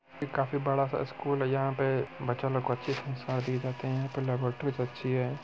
ये काफी बड़ा सा स्कूल है यहाँ पे बच्चा लोग को अच्छे संस्कार दिए जाते है यहाँ पे लेबोरेट्रीस अच्छी हैं।